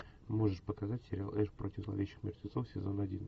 можешь показать сериал эш против зловещих мертвецов сезон один